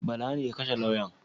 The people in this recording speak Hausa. Bala ne ya kashe lauyan?